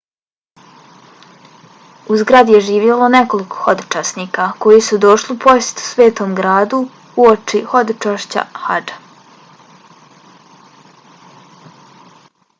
u zgradi je živjelo nekoliko hodočasnika koji su došli u posjetu svetom gradu uoči hodočašća hadža